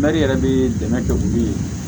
yɛrɛ bɛ dɛmɛ kɛ k'u ye